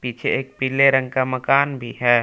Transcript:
एक पीले रंग का मकान भी है।